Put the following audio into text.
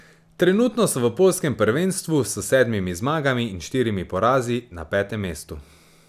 Trenutno so v poljskem prvenstvu s sedmimi zmagami in štirimi porazi na petem mestu.